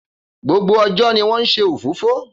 Gbogbo ọjọ́ ni wọ́n ń nse òfófó.